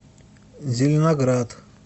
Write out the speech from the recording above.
зеленоград